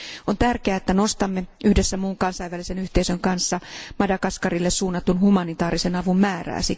Siksi on tärkeää, että nostamme yhdessä muun kansainvälisen yhteisön kanssa Madagaskarille suunnatun humanitaarisen avun määrää.